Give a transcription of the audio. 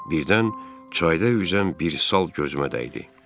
Birdən çayda üzən bir sal gözümə dəydi.